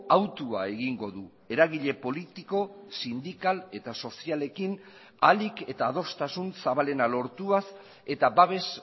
autua egingo du eragile politiko sindikal eta sozialekin ahalik eta adostasun zabalena lortuaz eta babes